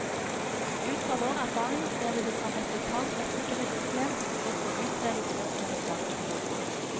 Ut fra vår erfaring ser vi det som et vitalt rettssikkerhetsproblem å få utredet spørsmålet straks.